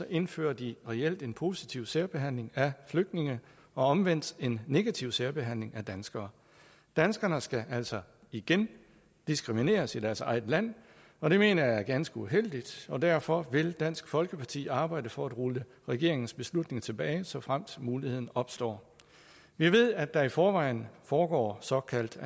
indfører de reelt en positiv særbehandling af flygtninge og omvendt en negativ særbehandling af danskere danskerne skal altså igen diskrimineres i deres eget land og det mener jeg er ganske uheldigt og derfor vil dansk folkeparti arbejde for at rulle regeringens beslutning tilbage såfremt muligheden opstår vi ved at der i forvejen foregår såkaldt